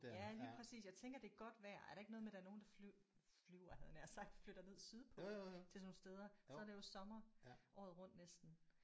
Ja lige præcis jeg tænker det er godt vejr. Er der ikke noget med der fly flyver havde jeg nær sagt flytter ned sydpå til sådan nogle steder så er det jo sommer året rundt næsten